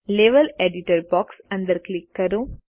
level editor box અંદર click કરો